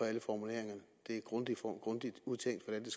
alle formuleringerne det er grundigt udtænkt hvordan